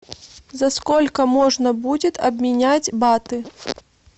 за сколько можно будет обменять баты